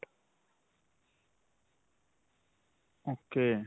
ok.